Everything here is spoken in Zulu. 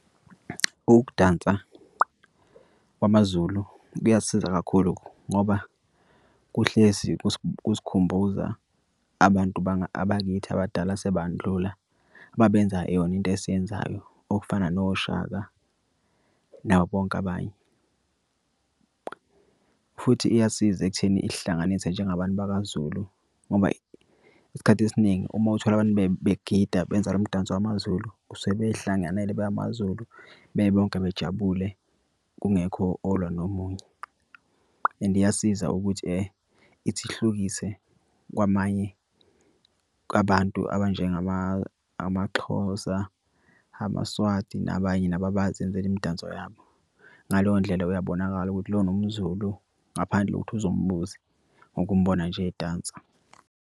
Ukudansa kwamaZulu kuyasiza kakhulu ngoba kuhlezi kusikhumbuza abantu abakithi abadala sebandlula babenza yona into esiyenzayo okufana noShaka nabobonke abanye. Futhi iyasiza ekutheni ihlanganise njengabantu bakaZulu ngoba isikhathi esiningi uma uthole abantu begide, benza lo mdanso wamaZulu usuke beyihlanganele bemaZulu bebonke bejabule. Kungekho olwa nomunye and iyasiza ukuthi ithi ihlukise kwamanye kwabantu amaXhosa, amaSwati nabanye nabo abazenzela imidanso yabo. Ngaleyo ndlela uyabonakala ukuthi lona umZulu, ngaphandle kokuthi uze umbuze ngokumbona nje edansa.